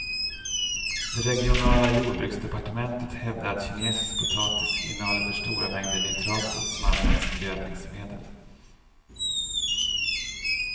Det regionala jordbruksdepartementet hävdar att kinesisk potatis innehåller för stora mängder nitrater, som använts som gödningsmedel.